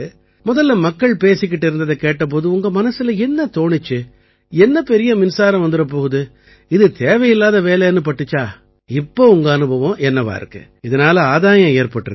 மொதல்ல மக்கள் பேசிக்கிட்டு இருந்ததைக் கேட்ட போது உங்க மனசுல என்ன தோணிச்சு என்ன பெரிய மின்சாரம் வந்துடப் போகுது இது தேவையில்லாத வேலைன்னு பட்டுதா இப்ப உங்க அனுபவம் என்னவா இருக்கு இதனால ஆதாயம் ஏற்பட்டிருக்கா